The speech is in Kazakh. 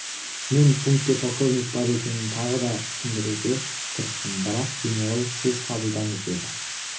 мен пунктте полковник бар екенін тағы да түсіндіруге тырыстым бірақ генерал сіз қабылдаңыз деді